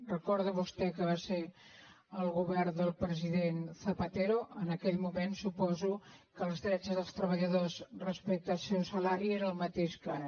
recorda vostè que va ser el govern del president zapatero en aquell moment suposo que els drets dels treballadors respecte al seu salari era el mateix que ara